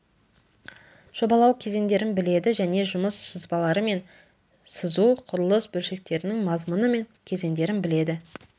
жобалау кезеңдерін біледі және жұмыс сызбалары мен сызу құрылыс бөлшектерінің мазмұны мен кезеңдерін біледі